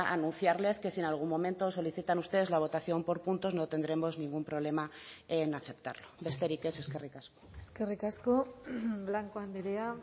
anunciarles que si en algún momento solicitan ustedes la votación por puntos no tendremos ningún problema en aceptarlo besterik ez eskerrik asko eskerrik asko blanco andrea